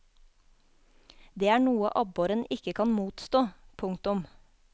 Det er noe abboren ikke kan motstå. punktum